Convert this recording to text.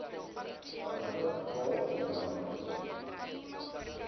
welke geval sodanige